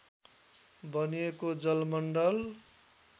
बनिएको जलमण्डल